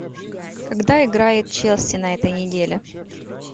когда играет челси на этой неделе